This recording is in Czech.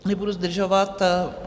Nebudu zdržovat.